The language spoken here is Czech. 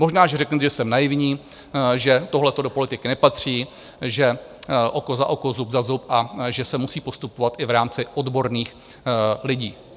Možná, že řeknete, že jsem naivní, že tohleto do politiky nepatří, že oko za oko, zub za zub a že se musí postupovat i v rámci odborných lidí.